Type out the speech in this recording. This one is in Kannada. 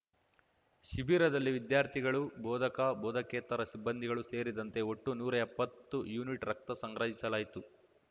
ಶಿಬಿರದಲ್ಲಿ ವಿದ್ಯಾರ್ಥಿಗಳು ಬೋಧಕ ಬೋಧಕೇತರ ಸಿಬ್ಬಂದಿಗಳು ಸೇರಿದಂತೆ ಒಟ್ಟು ನೂರಾ ಎಪ್ಪತ್ತು ಯೂನಿಟ್‌ ರಕ್ತ ಸಂಗ್ರಹಿಸಲಾಯಿತು